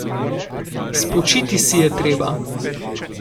Spočiti si je treba!